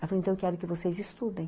Ela falou, então, quero que vocês estudem.